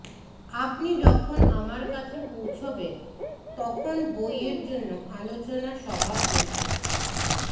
আপনি যখন আমার কাছে পৌঁছাবেন তখন বইয়ের জন্য আলোচনা সভা প্রশ্ন